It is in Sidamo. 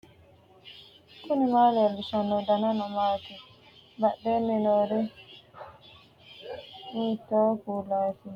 knuni maa leellishanno ? danano maati ? badheenni noori hiitto kuulaati ? mayi horo afirino ? tini beetto kowiicho maa loossanni nooika albaseenni hige noohu waa lawannohu maati